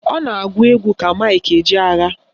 Ọ na-agụ egwu ka Mike Ejeagha